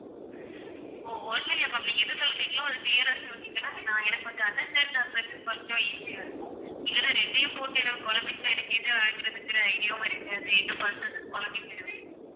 ஓ ஒண்ணும் இல்ல ma'am நீங்க எதை சொல்றீங்களோ அதை clear ஆ சொன்னீங்கன்னா நான் எனக்கு கொஞ்சம் understand பண்றதுக்கு கொஞ்சம் easy ஆ இருக்கும் இல்லன்னா ரெண்டையும் போட்டு எனக்கு குழம்பிட்டேன்னா எனக்கு எது எடுக்குறதுங்குற idea வும் இருக்காது என்ன பண்றதுன்னு குழப்பிக்கிடுவேன்